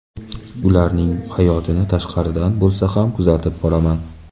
Ularning hayotini tashqaridan bo‘lsa ham kuzatib boraman.